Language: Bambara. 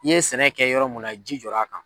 I ye sɛnɛ kɛ yɔrɔ mun na ji jɔr'a kan.